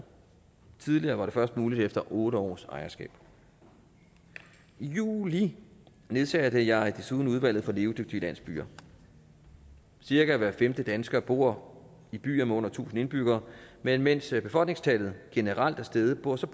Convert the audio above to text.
tidligere var det først muligt efter otte års ejerskab i juli nedsatte jeg desuden udvalget for levedygtige landsbyer cirka hver femte dansker bor i byer med under tusind indbyggere men mens befolkningstallet generelt er steget bor der